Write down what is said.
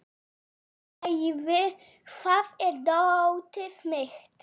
Leivi, hvar er dótið mitt?